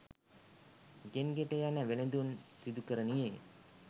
ගෙන් ගෙට යන වෙළඳුන් සිදුකරනුයේ